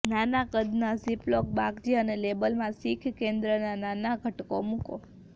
નાના કદના ઝીપ્લોક બાગજી અને લેબલમાં શીખ કેન્દ્રના નાના ઘટકો મૂકો